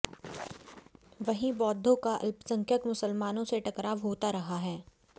वहीं बौद्धों का अल्पसंख्यक मुसलमानों से टकराव होता रहा है